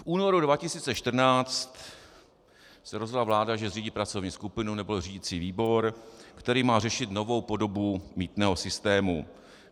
V únoru 2014 se rozhodla vláda, že zřídí pracovní skupinu nebo řídicí výbor, který má řešit novou podobu mýtného systému.